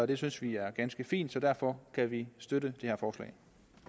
det synes vi er ganske fint så derfor kan vi støtte det